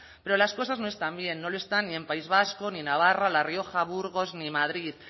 pero las cosas no están bien no lo está ni en el país vasco ni navarra la rioja burgos ni madrid